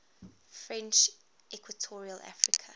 french equatorial africa